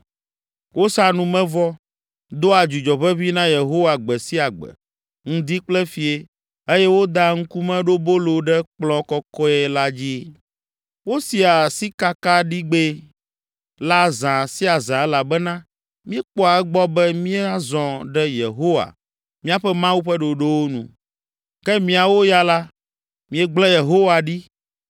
Wosaa numevɔ, doa dzudzɔ ʋeʋĩ na Yehowa gbe sia gbe, ŋdi kple fiẽ eye wodaa Ŋkumeɖobolo ɖe kplɔ̃ kɔkɔe la dzi. Wosia sikakaɖigbɛ la zã sia zã elabena míekpɔa egbɔ be míazɔ ɖe Yehowa, míaƒe Mawu ƒe ɖoɖowo nu, ke miawo ya la, miegblẽ Yehowa ɖi